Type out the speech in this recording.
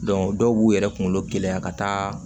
dɔw b'u yɛrɛ kunkolo gɛlɛya ka taa